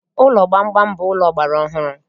Ụlọ gbamgbam bụ ụlọ ọgbara ọhụrụ